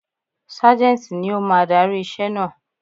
Ságẹ́ńtì ni ó máa darí iṣẹ́ naa.